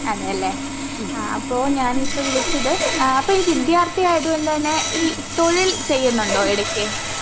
അതെയല്ലേ? ആ അപ്പോ ഞാനിപ്പൊ വിളിച്ചത് ആഹ് അപ്പൊ ഈ വിദ്യർത്ഥിയായത്കൊണ്ട്തന്നെ ഈ തൊഴിൽ ചെയ്യുന്നുണ്ടോ എടക്ക്?